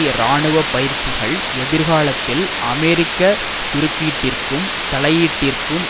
இராணுவ பயிற்சிகள் எதிர்காலத்தில் அமெரிக்க குறுக்கீட்டிற்கும் தலையீட்டீற்கும்